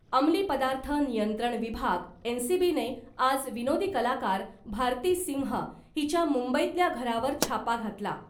अंमली पदार्थ नियंत्रण विभाग एनसीबीने आज विनोदी कलाकार भारती सिंह हिच्या मुंबईतल्या घरावर छापा घातला .